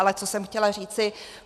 Ale co jsem chtěla říci.